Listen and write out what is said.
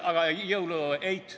Aga jõulueit?